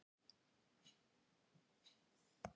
Já, við gerum það. Bless.